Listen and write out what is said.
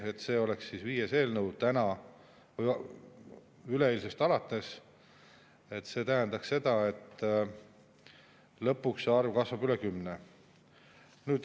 See siin oleks üleeilsest alates viies eelnõu ja see tähendaks seda, et lõpuks see arv kasvab üle kümne.